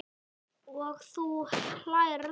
Og þú hlærð?